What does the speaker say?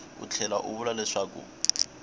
u tlhela u vula leswaku